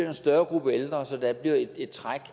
en større gruppe ældre så der bliver et træk